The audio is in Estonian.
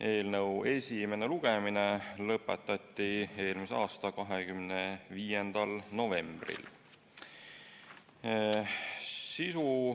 Eelnõu esimene lugemine lõpetati eelmise aasta 25. novembril.